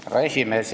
Härra esimees!